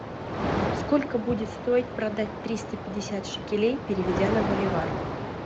сколько будет стоить продать триста пятьдесят шекелей переведя на боливар